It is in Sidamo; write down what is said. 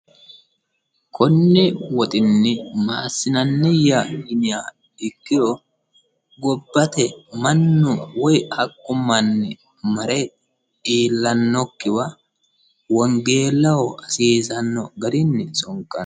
Konni woxxinni ma assinanniya yiniha ikkiro gobbate mannu woyi kaphu manni mare iillanokiwa wongeellaho hasiisanno garinni sonkanni.